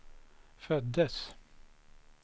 föddes